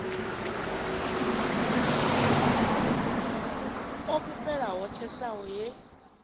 o fhufhela ho tsesaho he